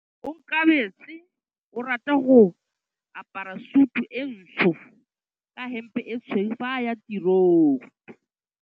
Onkabetse o rata go apara sutu e ntsho ka hempe e tshweu fa a ya tirong.